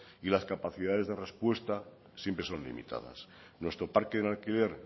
y las capacidades de respuesta siempre son limitadas nuestro parque en alquiler